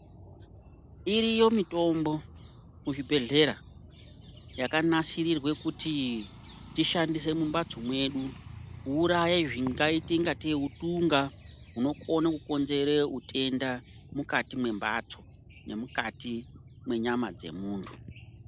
Iriyo mitombo kuzvibhedhlera yakanasirirwe kuti tishandise mumbatso mwedu kuuraya zvingaite ingatei utunga hunokone kukonzere utenda mukati membatso nemukati menyama dzemuntu.